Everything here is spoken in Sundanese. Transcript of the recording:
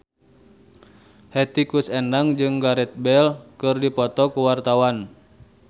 Hetty Koes Endang jeung Gareth Bale keur dipoto ku wartawan